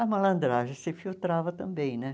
A malandragem se infiltrava também, né?